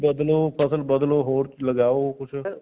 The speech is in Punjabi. ਬਦਲੋ ਫਸਲ ਬਦਲੋ ਹੋਰ ਲਗਾਓ ਕੁੱਝ